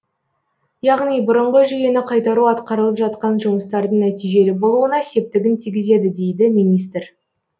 яғни бұрынғы жүйені қайтару атқарылып жатқан жұмыстардың нәтижелі болуына септігін тигізеді дейді министр